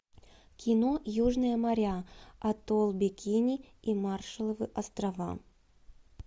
кино южные моря атолл бикини и маршалловы острова